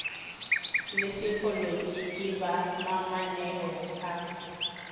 le sepolotiki ba mamaneo a